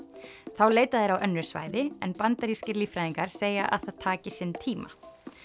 þá leita þeir á önnur svæði en bandarískir líffræðingar segja að það taki sinn tíma